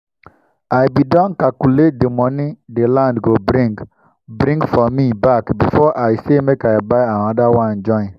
i bin don calculate dey moni dey land go bring bring for me back before i say make i buy anoda one join